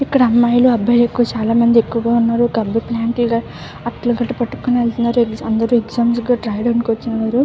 ఇక్కడ అమ్మాయి లు అబ్బాయి లు ఎక్కువ చాలా మంది ఎక్కువగా ఉన్నారు పెద్ద ప్లాంక్ లు అట్లగాదులు పట్టుకొని వెళ్ళ్తునారు ఎక్సమృ ఎగ్జామ్స్ కు రాయధానికివచ్చినారు.